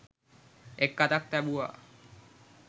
එක් අතක් තැබුවා.